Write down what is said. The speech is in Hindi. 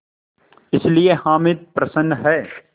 इसलिए हामिद प्रसन्न है